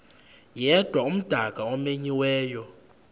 yedwa umdaka omenyiweyo